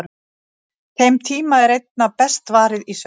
Þeim tíma er einna best varið í svefn.